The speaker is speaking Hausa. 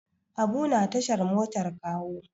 Habu na tashar motar Kawo.